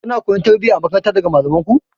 Kuna koyon tarbiyya a makaranta daga malamanku?